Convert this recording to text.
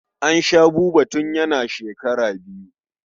An sha Buba tun yana shekara biyu.